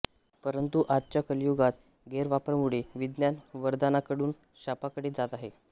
परंतु आजच्या कलियुगात गैरवापरामुळे विज्ञान वरदानाकडून शापाकडे जात आहे